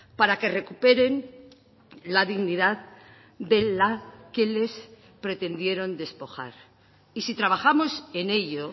para que recuperen la dignidad de la que les pretendieron despojar y si trabajamos en ello